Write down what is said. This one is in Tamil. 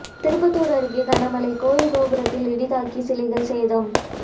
திருப்பத்தூர் அருகே கனமழை கோயில் கோபுரத்தில் இடி தாக்கி சிலைகள் சேதம்